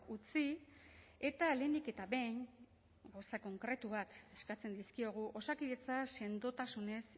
utzi eta lehenik eta behin gauza konkretu bat eskatzen dizkiogu osakidetza sendotasunez